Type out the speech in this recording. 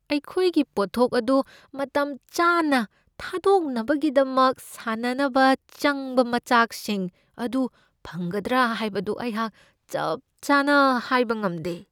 ꯑꯩꯈꯣꯏꯒꯤ ꯄꯣꯠꯊꯣꯛ ꯑꯗꯨ ꯃꯇꯝ ꯆꯥꯅ ꯊꯥꯗꯣꯛꯅꯕꯒꯤꯗꯃꯛ ꯁꯥꯅꯅꯕ ꯆꯪꯕ ꯃꯆꯥꯛꯁꯤꯡ ꯑꯗꯨ ꯐꯪꯒꯗ꯭ꯔꯥ ꯍꯥꯏꯕꯗꯨ ꯑꯩꯍꯥꯛ ꯆꯞ ꯆꯥꯅ ꯍꯥꯏꯕ ꯉꯝꯗꯦ ꯫